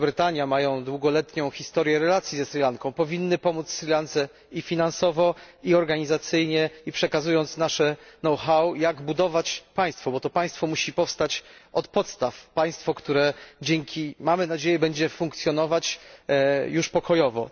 Wielka Brytania, mają długoletnią historię relacji ze Sri Lanką, powinniśmy pomóc Sri Lance i finansowo, i organizacyjnie, i przekazując im nasze know how, jak budować państwo, bo to państwo musi powstać od podstaw, państwo, które mamy nadzieję będzie funkcjonować już pokojowo.